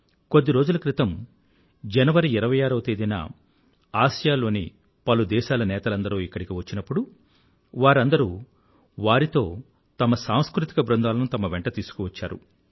కొద్ది రోజుల క్రితం జనవరి 26వ తేదీన ఆసియాలోనిASEAN పలుదేశాల నేతలందరూ ఇక్కడికి వచ్చినప్పుడు వారందరూ వారితో తమ సాంస్కృతిక బృందాలను తమ వెంట తీసుకువచ్చారు